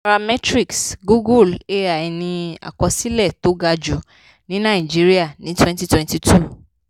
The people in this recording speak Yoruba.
nairametrics googlé ai ní àkọsílẹ̀ tó ga jù ní nàìjíríà ní twenty twenty-two.